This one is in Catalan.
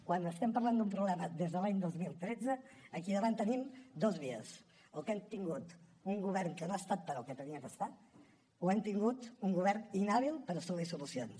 quan estem parlant d’un problema des de l’any dos mil tretze aquí davant tenim dues vies el que hem tingut un govern que no ha estat pel que havia d’estar o hem tingut un govern inhàbil per assolir solucions